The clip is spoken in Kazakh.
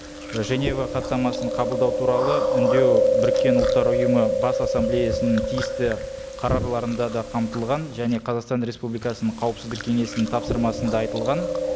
ы женева хаттамасын қабылдау туралы үндеу біріккен ұлттар ұйымы бас ассамблеясының тиісті да қамтылған және қазақстан республикасының қауіпсіздік кеңесінің тапсырмасында айьылған